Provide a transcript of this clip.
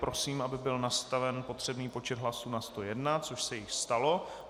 Prosím, aby byl nastaven potřebný počet hlasů na 101 - což se již stalo.